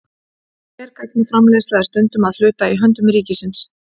Hergagnaframleiðsla er stundum að hluta í höndum ríkisins.